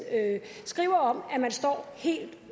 skriver om at man står helt